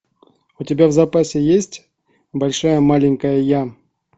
у тебя в запасе есть большая маленькая я